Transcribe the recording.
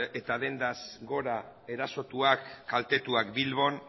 eta dendaz gora erasotuak kaltetuak bilbon